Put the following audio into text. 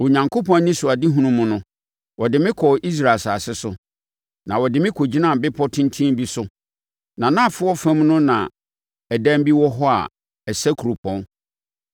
Onyankopɔn anisoadehunu mu no, ɔde me kɔɔ Israel asase so, na ɔde me kɔgyinaa bepɔ tenten bi so; nʼanafoɔ fam no na adan bi wɔ hɔ a ɛsɛ kuropɔn.